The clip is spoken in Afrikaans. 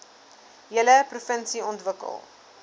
hele provinsie ontwikkel